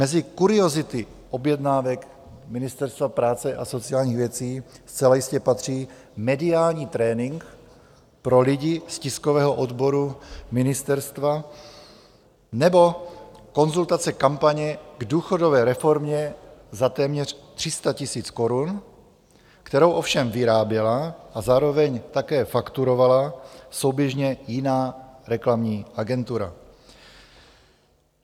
Mezi kuriozity objednávek Ministerstva práce a sociálních věcí zcela jistě patří mediální trénink pro lidi z tiskového odboru ministerstva nebo konzultace kampaně k důchodové reformě za téměř 300 000 korun, kterou ovšem vyráběla a zároveň také fakturovala souběžně jiná reklamní agentura.